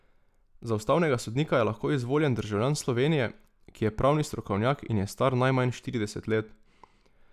Za ustavnega sodnika je lahko izvoljen državljan Slovenije, ki je pravni strokovnjak in je star najmanj štirideset let.